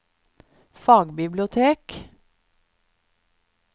fagbibliotek